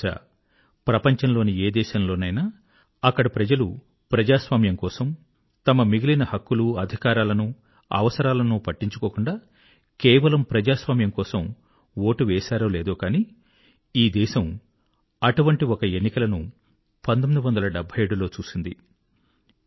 బహుశా ప్రపంచంలోని ఏ దేశంలోనైనా అక్కడి ప్రజలు ప్రజాస్వామ్యం కోసం తమ మిగిలిన హక్కులు అధికారాలను అవసరాలను పట్టించుకోకుండా కేవలం ప్రజాస్వామ్యము కోసం ఓటు వేశారో లేదో గానీ ఈ దేశం అటువంటి ఒక ఎన్నికలను 77 డెబ్భై ఏడు లో చూసింది